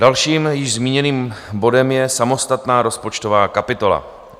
Dalším, již zmíněným bodem je samostatná rozpočtová kapitola.